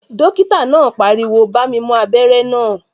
Dókítà náà pariwo "bá mi mú abẹ́rẹ́ náà